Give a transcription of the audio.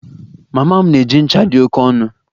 Mama m na-eji ncha dị oke ọnụ